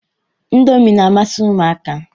Indomi na-amasị ụmụaka.